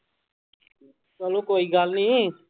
ਚਲੋ ਕੋਈ ਗੱਲ ਨੀ।